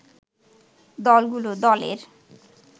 দলগুলো দলের